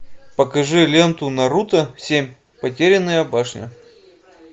покажи ленту наруто семь потерянная башня